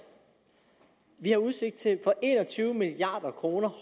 vi har udsigt til for en og tyve milliard kroner